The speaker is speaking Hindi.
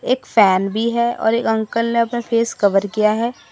एक फैन भी है और एक अंकल ने अपना फेस कवर किया है।